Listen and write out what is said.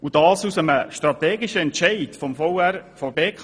Sie entstand durch einen strategischen Entscheid des VR der BKW.